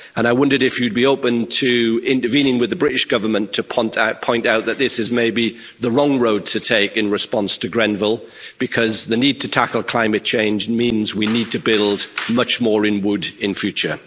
I wondered if you'd be open to intervening with the British Government to point out that this is maybe the wrong road to take in response to Grenfell, because the need to tackle climate change means we need to build much more in wood in future?